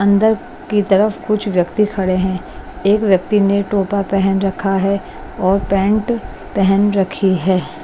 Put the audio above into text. अंदर की तरफ कुछ व्यक्ति खड़े हैं एक व्यक्ति ने टोपा पहन रखा है और पैंट पहन रखी है।